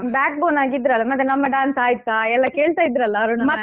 Backbone ಆಗಿದ್ರಲ್ಲಾ ಮತ್ತೆ ನಮ್ಮ dance ಆಯ್ತಾ ಎಲ್ಲಾ ಕೇಳ್ತಾ ಇದ್ರಲ್ಲಾ ಅರುಣ ma'am ಎಲ್ಲಾ